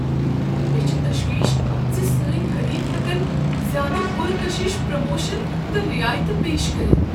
مےٚ چھ تشویش زِ سٲنۍ حریف ہٮ۪کن زیادٕ پر کشش پروموشن تہٕ رعایِتہٕ پیش کٔرتھ۔